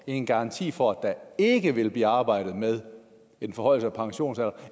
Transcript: en garanti for at der ikke vil blive arbejdet med en forhøjelse af pensionsalderen